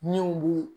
Min bu